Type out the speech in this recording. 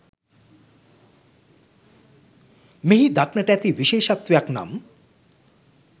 මෙහි දක්නට ඇති විශේෂත්වයක් නම්